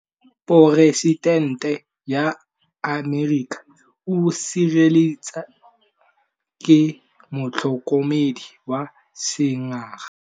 Poresitêntê wa Amerika o sireletswa ke motlhokomedi wa sengaga.